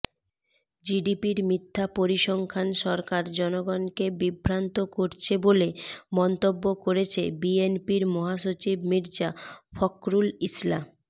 জিডিপির মিথ্যা পরিসংখ্যান সরকার জনগণকে বিভ্রান্ত করছে বলে মন্তব্য করেছে বিএনপির মহাসচিব মির্জা ফখরুল ইসলা